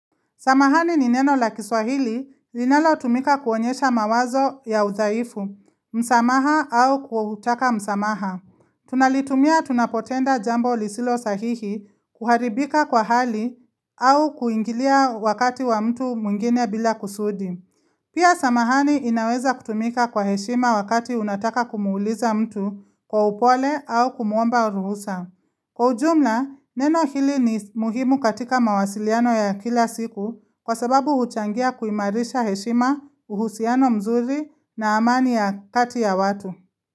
Samahani ni neno la kiswahili linalotumika kuonyesha mawazo ya udhaifu, msamaha au kutaka msamaha. Tunalitumia tunapotenda jambo lisilo sahihi kuharibika kwa hali au kuingilia wakati wa mtu mwingine bila kusudi. Pia samahani inaweza kutumika kwa heshima wakati unataka kumwuuliza mtu kwa upole au kumuomba ruhusa. Kwa ujumla, neno hili ni muhimu katika mawasiliano ya kila siku kwa sababu huchangia kuimarisha heshima, uhusiano mzuri na amani ya kati ya watu.